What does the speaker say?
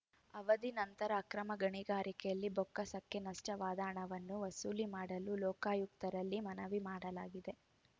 ಅವಧಿ ನಂತರದ ಅಕ್ರಮ ಗಣಿಗಾರಿಕೆಯಲ್ಲಿ ಬೊಕ್ಕಸಕ್ಕೆ ನಷ್ಟವಾದ ಹಣವನ್ನು ವಸೂಲಿ ಮಾಡಲು ಲೋಕಾಯುಕ್ತರಲ್ಲಿ ಮನವಿ ಮಾಡಲಾಗಿದೆ